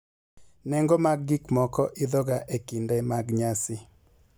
Nengo mag gik moko idhoga e kinde mag nyasi.